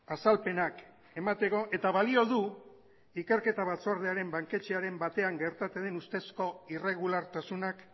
azalpenak emateko eta balio du ikerketa batzordearen banketxeren batean gertatu den ustezko irregulartasunak